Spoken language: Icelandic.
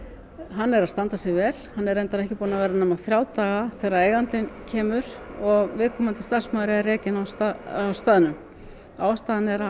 hann stendur sig vel en er reyndar ekki búinn að vera nema þrjá daga þegar eigandinn kemur og viðkomandi starfsmaður er rekinn á staðnum ástæðan er að